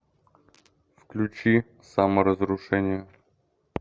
включи саморазрушение